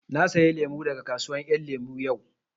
Na saya lemu daga kasuwar ƴan lemu yau